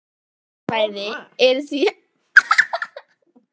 Jarðhitasvæði eru því öðru fremur algeng við þessi flekaskil.